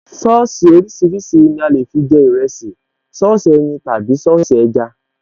Sọ́ọ̀sì oríṣiríṣi ni a lè fi jẹ ìrẹsì, Sọ́ọ̀sì ẹyin tàbí Sọ́ọ̀sì ẹja